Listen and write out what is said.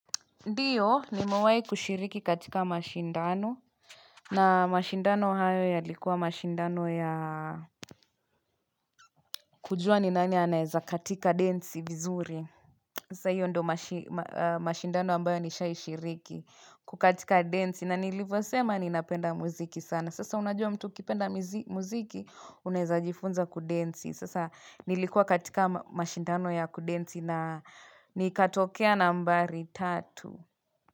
Ndiyo, nimawai kushiriki katika mashindano. Na mashindano hayo yalikuwa mashindano ya kujua ni nani anaeza katika densi vizuri. Sasa hiyo ndo mashindano ambayo nishai shiriki kukatika densi na nilivo sema ninapenda muziki sana. Sasa unajua mtu ukipenda muziki unaeza jifunza kudensi. Sasa nilikuwa katika mashindano ya kudensi na nikatokea nambari tatu.